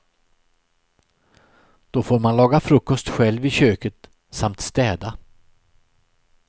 Då får man laga frukost själv i köket samt städa.